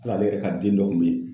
Hal'ale yɛrɛ ka den dɔ kun be ye